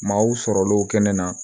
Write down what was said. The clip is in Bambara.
Maaw sɔrɔlenw kɛnɛ na